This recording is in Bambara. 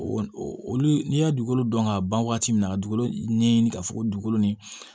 Olu n'i y'a dugukolo dɔn ka ban waati min na ka dugukolo ɲɛɲini ka fɔ ko dugukolo ni